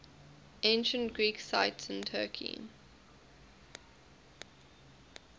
ancient greek sites in turkey